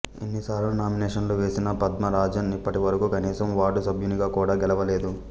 ఇన్ని సార్లు నామినేషనులు వేసిన పద్మ రాజన్ ఇప్పటివరకు కనీసం వార్డు సభ్యునిగా కూడా గెలవలేదు